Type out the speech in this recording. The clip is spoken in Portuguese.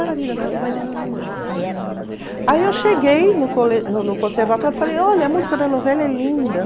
Aí eu cheguei no no no conservatório e falei, olha, a música da novela é linda.